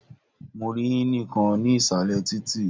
Mo rí ínì kan ní ìsàlẹ̀ títì.